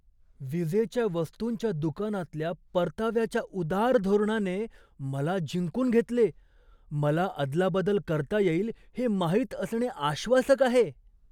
विजेच्या वस्तूंच्या दुकानातल्या परताव्याच्या उदार धोरणाने मला जिंकून घेतले, मला अदलाबदल करता येईल हे माहित असणे आश्वासक आहे.